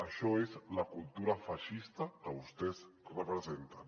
això és la cultura feixista que vostès representen